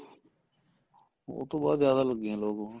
ਉਹ ਤੋਂ ਬਾਅਦ ਜਿਆਦਾ ਲੱਗੇ ਏ ਲੋਕ ਹੋਣ